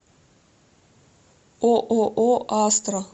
ооо астра